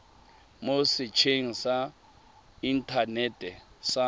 mo setsheng sa inthanete sa